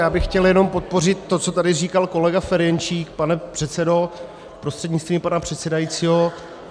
Já bych chtěl jenom podpořit to, co tady říkal kolega Ferjenčík, pane předsedo, prostřednictvím pana předsedajícího.